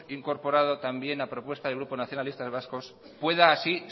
incorporado también la propuesta del grupo nacionalistas vascos pueda así